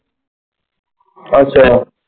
ਅੱਛਾ।